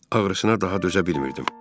Ağrısına daha dözə bilmirdi.